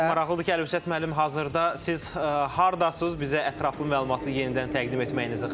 Və maraqlıdır ki, Əlövsət müəllim, hazırda siz hardasız, bizə ətraflı məlumatı yenidən təqdim etməyinizi xahiş edirəm.